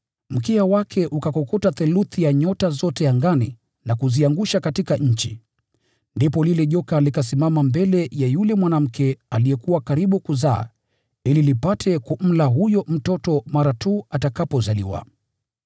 Mkia wake ukakokota theluthi ya nyota zote angani na kuziangusha katika nchi. Ndipo lile joka likasimama mbele ya yule mwanamke aliyekuwa karibu kuzaa ili lipate kumla huyo mtoto mara tu atakapozaliwa.